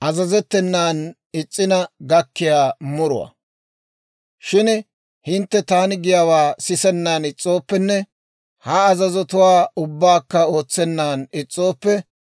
«Shin hintte taani giyaawaa sisennan is's'ooppenne, ha azazotuwaa ubbaakka ootsennan is's'ooppe,